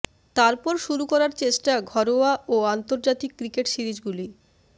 তারপর শুরু করার চষ্টা ঘরোয়া ও আন্তর্জাতিক ক্রিকেট সিরিজগুলি